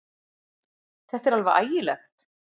Þetta er alveg ægilegt!